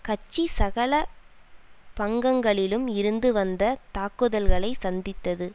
கட்சி சகல பங்கங்களிலும் இருந்து வந்த தாக்குதல்களை சந்தித்தது